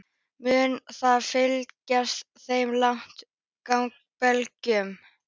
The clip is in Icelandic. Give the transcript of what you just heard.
Mun það fleyta þeim langt gegn Belgum?